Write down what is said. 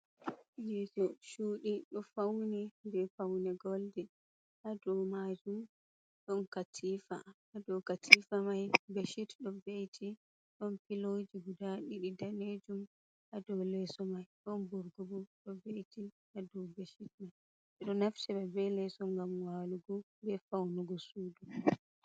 Yesu chudi do fauni be fauni goldin. Hadau majum don katifa. Ha dau katifamai beshit do veiti. Ɗon piloji guda ɗiɗi ɗalejum hadau leeso mai. Ɗon burgobo do veiti ha dau beshit mai. Beɗo naftira be leeso gam walugu be faunugo sudu.